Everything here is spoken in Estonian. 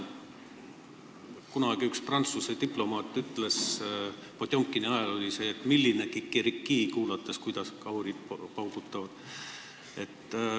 Kunagi ütles üks Prantsuse diplomaat, kuulates, kuidas kahurid paugutavad – see oli Potjomkini ajal –, et milline kikerikii.